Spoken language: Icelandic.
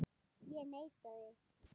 Ég neita því.